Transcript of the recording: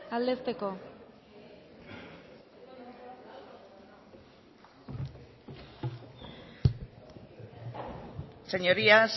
aldetzeko señorías